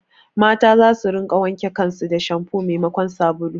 Mata za su rinƙa wanke kan su da shampu memakon sabulu